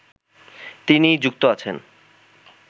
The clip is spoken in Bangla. তিনি যুক্ত আছেন